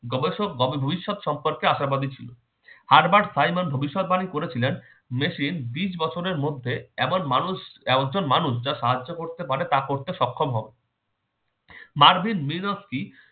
গবেষক গভেদুইশক সম্পর্কে আশাবাদি ছিলো। হার্বার্ট সাইমন ভবিষ্যৎবাণী করেছিলেন machine বিশ বছরের মধ্যে এমন মানুষ এমন সব মানুষ যা সাহায্য করতে পারে তা করতে সক্ষম হবে। Marvin Minsky